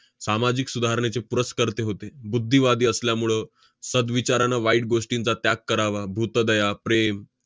सामाजिक सुधारणेचे पुरस्कर्ते होते. बुद्धीवादी असल्यामुळं सद्विचारानं वाईट गोष्टींचा त्याग करावा, भूतदया, प्रेम,